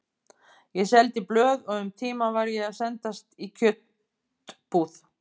Ég seldi blöð og um tíma var ég að sendast í kjötbúð.